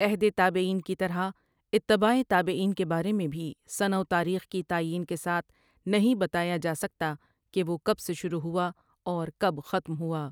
عہد تابعین کی طرح، اتباعِ تابعین کے بارے میں بھی سنہ وتاریخ کی تعیین کے ساتھ نہیں بتایا جاسکتا کہ وہ کب سے شروع ہوا اور کب ختم ہوا۔